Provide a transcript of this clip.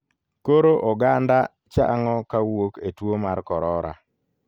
Koro oganda chang'o kawuok e tuo mar korora.